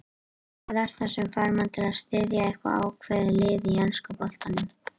Hvað er það sem fær mann til að styðja eitthvað ákveðið lið í enska boltanum?